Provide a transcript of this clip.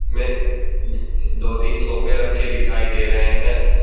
में दो तीन सोफे रखे दिखाई दे रहे हैं।